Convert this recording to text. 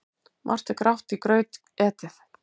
Margt er grátt í graut etið.